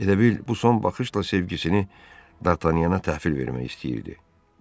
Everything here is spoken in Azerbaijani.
Elə bil bu son baxışla sevgisini Dartanyana təhvil vermək istəyirdi.